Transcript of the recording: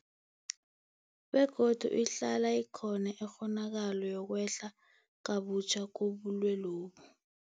Begodu ihlala ikhona ikghonakalo yokwehla kabutjha kobulwelobu.